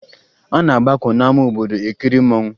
A na-agbakọ n'ama obodo ekiri mmanwụ